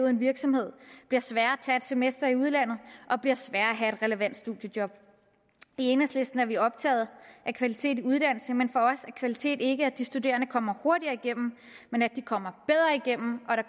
en virksomhed bliver sværere at tage et semester i udlandet og bliver sværere at have et relevant studiejob i enhedslisten er vi optaget af kvalitet i uddannelse men for os er kvalitet ikke at de studerende kommer hurtigere igennem men at de